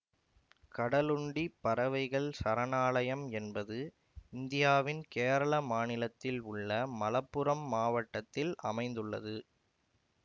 கடலுண்டி பறவைகள் சரணாலயம் என்பது இந்தியாவின் கேரள மாநிலத்தில் உள்ள மலப்புரம் மாவட்டத்தில் அமைந்துள்ளது